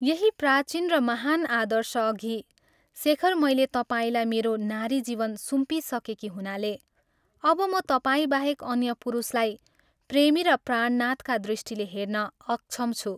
यही प्राचीन र महान् आदर्शअघि शेखर मैले तपाईंलाई मेरो नारी जीवन सुम्पिसकेकी हुनाले, अब म तपाईंबाहेक अन्य पुरुषलाई प्रेमी र प्राणनाथका दृष्टिले हेर्न अक्षम छु।